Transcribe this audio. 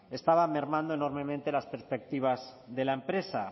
estaban mermando enormemente las perspectivas de la empresa